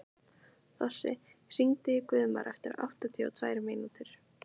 Þossi, hringdu í Guðmar eftir áttatíu og tvær mínútur.